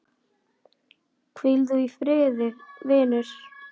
Hvíl þú í friði, vinur.